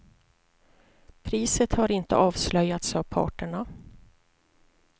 Priset har inte avslöjats av parterna.